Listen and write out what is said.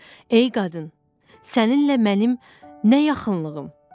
Ey qadın, səninlə mənim nə yaxınlığım?